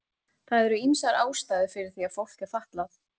Það eru ýmsar ástæður fyrir því að fólk er fatlað.